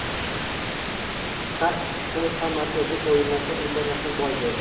Har ikki klub ham markaziy o‘yinlarda imkoniyatni boy berdi.